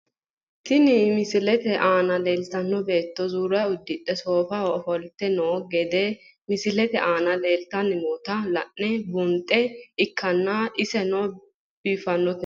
Tini misilete aana leeltano beeto zuura udidhe soofaho ofolte noo gede misilete aana leelitani noota la`ne buunxaniha ikanna iseno biifanote.